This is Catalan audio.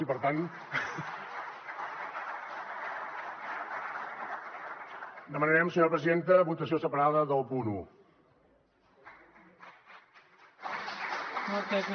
i per tant demanarem senyora presidenta votació separada del punt un